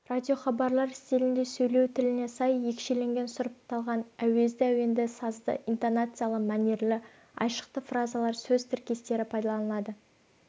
радиохабарлар стилінде сөйлеу тіліне сай екшеленген сұрыпталған әуезді әуенді сазды интонациялы мәнерлі айшықты фразалар сөз тіркестері пайдаланылады